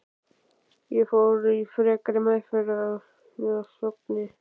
Ég fór í frekari meðferð að Sogni.